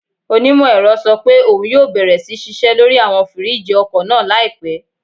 Onímọ̀-ẹ̀rọ sọ pé òun yóò bẹ̀rẹ̀ sí ṣiṣẹ́ lórí àwọn fìríìjì ọkọ̀ náà láìpẹ́